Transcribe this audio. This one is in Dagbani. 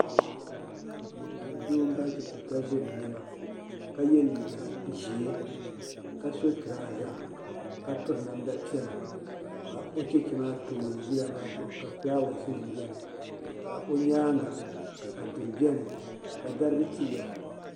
Doo m bari chɛchɛ ka ʒiri niɛma ka ye liiga ʒee ka so turaaza ka piri namda piɛlla ka o chɛchɛ maa tooni yila maa zuɣu ka filaawaasi biɛni ka o nyaanga ka duri biɛni ka dariga tiliya.